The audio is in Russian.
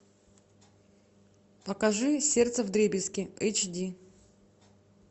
покажи сердце вдребезги эйч ди